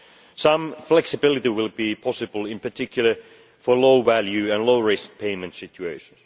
Some flexibility will be possible, in particular for low value and low risk payment situations.